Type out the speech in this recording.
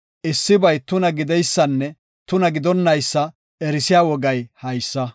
issibay tuna gideysanne tuna gidonnaysa erisiya wogay haysa.”